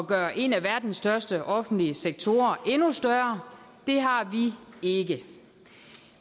gøre en af verdens største offentlige sektorer endnu større det har vi ikke